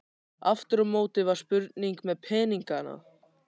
Aftur á móti var spurning með peningana.